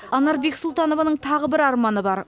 анар бексұлтанованың тағы бір арманы бар